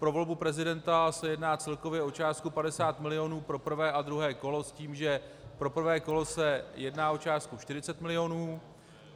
Pro volbu prezidenta se jedná celkově o částku 50 milionů pro prvé a druhé kolo s tím, že pro prvé kolo se jedná o částku 40 milionů.